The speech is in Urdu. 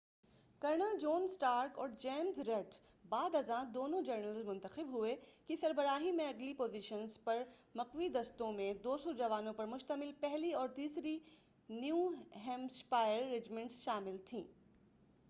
کرنل جون اسٹارک اور جیمز ریڈ بعد ازاں دونوں جنرلز منتخب ہوئے کی سربراہی میں، اگلی پوزیشنز پر مقوی دستوں میں، 200 جوانوں پر مشتمل پہلی اور تیسری نیو ہیمپشائر رجمنٹس شامل تھیں۔